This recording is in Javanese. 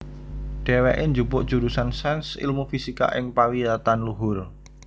Dhèwèké njupuk jurusan Sains Ilmu Fisika ing pawiyatan luhur